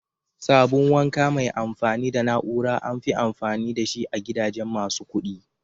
Sabun wanka mai amfani da na'ura amfi amfani da shi a gidajen masu kudi.